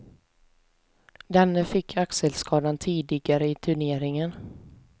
Denne fick axelskadan tidigare i turneringen.